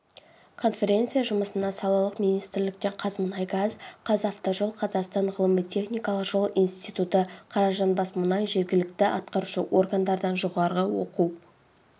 конференция жұмысына салалық министрліктен қазмұнайгаз қазавтожол қазақстан ғылыми-техникалық жол институты қаражанбасмұнай жергілікті атқарушы органдардан жоғары оқу